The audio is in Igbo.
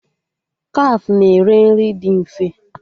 Kafe na-ere nri dị mfe